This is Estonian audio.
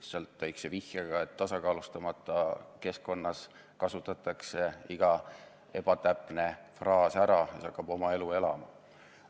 Lihtsalt väikese vihjega, et tasakaalustamata keskkonnas kasutatakse iga ebatäpne fraas ära, mis hakkab oma elu elama.